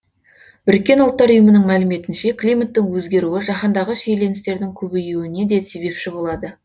біріккен ұлттар ұйымының мәліметінше климаттың өзгеруі жаһандағы шиеленістердің көбеюіне де себепші болады